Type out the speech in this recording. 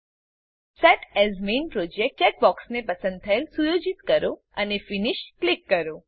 set as main project ચેકબોક્સને પસંદ થયેલ સુયોજિત કરો અને ફિનિશ ક્લિક કરો